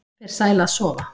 Fer sæl að sofa